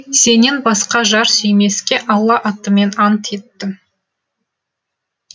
сенен басқа жар сүймеске алла атымен ант еттім